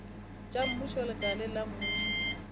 tša mmušo lekaleng la mmušo